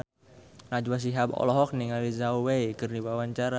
Najwa Shihab olohok ningali Zhao Wei keur diwawancara